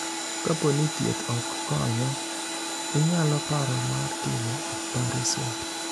Kapo ni thieth ok konyo, inyalo paro mar timo opareson.